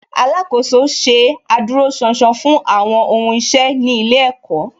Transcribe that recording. Alákòóso ṣe adúróṣánṣán fún àwọn ohun iṣẹ́ ní ilé ẹ̀kọ́